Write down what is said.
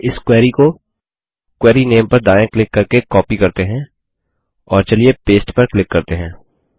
पहले इस क्वेरी को क्वेरी नामे पर दायाँ क्लिक करके कॉपी करते हैं और पस्ते पर क्लिक करते हैं